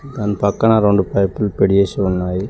దాని పక్కన రెండు పైపులు పెడేసి ఉన్నాయి.